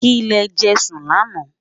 kí lè jé sùn lànà